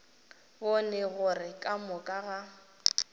bone gore ka moka ga